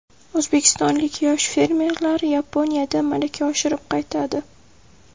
O‘zbekistonlik yosh fermerlar Yaponiyada malaka oshirib qaytadi.